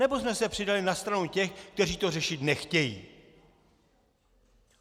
Nebo jsme se přidali na stranu těch, kteří to řešit nechtějí?